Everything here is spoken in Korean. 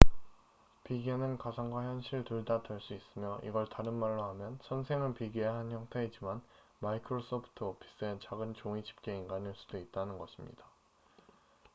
비계는 가상과 현실 둘 다 될 수 있으며 이걸 다른 말로 하면 선생은 비계의 한 형태이지만 마이크로소프트 오피스의 작은 종이 집게 인간일 수도 있다는 것입니다